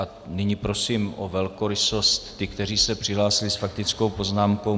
A nyní prosím o velkorysost ty, kteří se přihlásili s faktickou poznámkou.